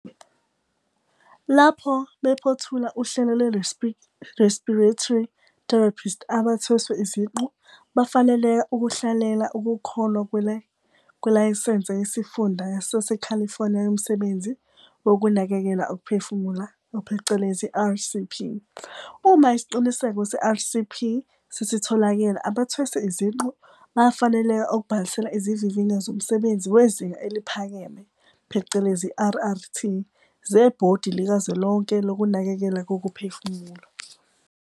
Lapho bephothula uhlelo lwe-Respiratory Therapist abathweswe iziqu bafaneleka ukuhlalela Ukuhlolwa Kwelayisense Yesifunda SaseCalifornia Yomsebenzi Wokunakekela Ukuphefumula, phecelezi RCP. Uma Isiqinisekiso Se-RCP sesitholakele abathweswe iziqu bayafaneleka ukubhalisela Izivivinyo Zomsebenzi Wezinga Eliphakeme, phecelezi, RRT, zeBhodi Likazwelonke Lokunakekelwa Kokuphefumula.